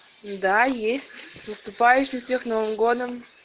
да есть наступающим всех новым годом